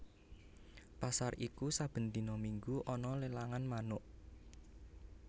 Pasar iku saben dina minggu ana lelangan manuk